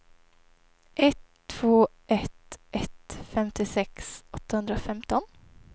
ett två ett ett femtiosex åttahundrafemton